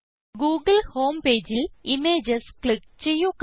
Google home പേജിൽ images click ചെയ്യുക